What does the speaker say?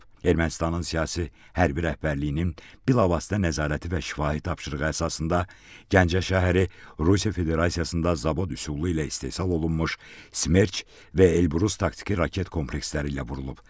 Ermənistanın siyasi, hərbi rəhbərliyinin bilavasitə nəzarəti və şifahi tapşırığı əsasında Gəncə şəhəri Rusiya Federasiyasında zavod üsulu ilə istehsal olunmuş Smerç və Elbrus taktiki raket kompleksləri ilə vurulub.